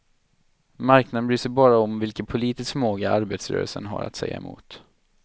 Marknaden bryr sig bara om vilken politisk förmåga arbetarrörelsen har att säga emot.